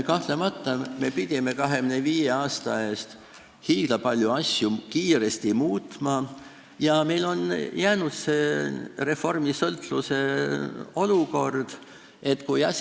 Kahtlemata, me pidime 25 aasta eest hiigla paljusid asju kiiresti muutma ja see reformisõltluse olukord on alles jäänud.